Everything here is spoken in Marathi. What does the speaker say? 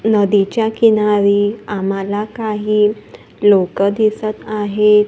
नदीच्या किनारी आम्हाला काही लोकं दिसत आहेत.